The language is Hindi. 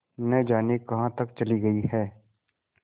न जाने कहाँ तक चली गई हैं